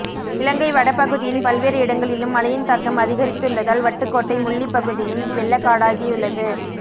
இலங்கை வட பகுதியின் பல்வேறு இடங்களிலும் மழையின் தாக்கம் அதிகரித்துள்ளதால் வட்டுக்கோட்டை முள்ளிப்பகுதியும் வெள்ளக்காடாகியுள்ளது